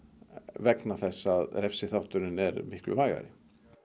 vegna þess að refsiþátturinn er miklu vægari